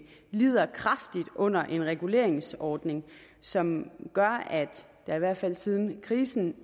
lider kraftigt under en reguleringsordning som gør at der i hvert fald siden krisen